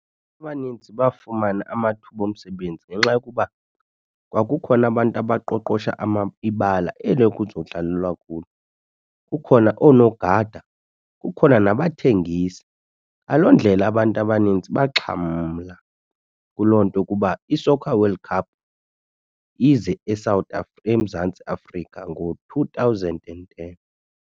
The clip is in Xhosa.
Abanintsi bafumana amathuba omsebenzi ngenxa yokuba kwakukhona abantu abaqoqosha ibala eli kuzodlalelwa kulo. Kukhona oonogada, kukhona nabathengisi. Ngaloo ndlela abantu abanintsi baxhamla kuloo nto ukuba i-soccer Corld Cup ize eSouth eMzantsi Afrika ngo-two thousand and ten.